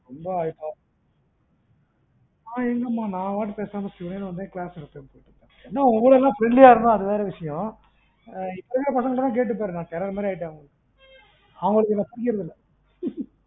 ரொம்ப இருக்கு. நா எங்க மா நா வாட்டிக்கு பேசாம சிவனேன்னு வந்து class எடுப்பன், என்ன உங்ககூடஎல்லா friendly ஆ இருந்தன் அது வேற விசியம், இப்ப இருக்குற பசங்கட்ட எல்லாம் கேட்டுப்பாரு நா terror மாறி ஆயிட்டன். அவங்களுக்கு என்ன பிடிக்கிறது இல்ல